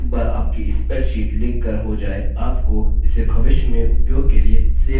एक बार आपकी spreadsheet लिख कर हो जाय आपको इसे भविष्य में उपयोग के लिए सेव करना चाहिए